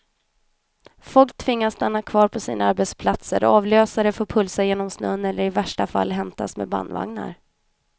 Folk tvingas stanna kvar på sina arbetsplatser, avlösare får pulsa genom snön eller i värsta fall hämtas med bandvagnar.